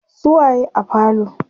su waye a falo?